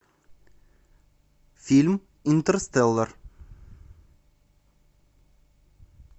фильм интерстеллар